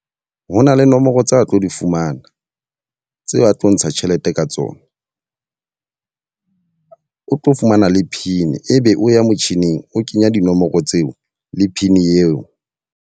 Ho na le nomoro tsa tlo di fumana, tse a tlo ntsha tjhelete ka tsona. o tlo fumana le pin e be o ya motjhining o kenya dinomoro tseo le pin eo.